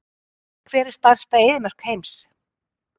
Hver er stærsta eyðimörk heims?